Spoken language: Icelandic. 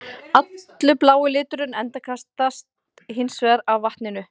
Allur blái liturinn endurkastast hins vegar af vatninu.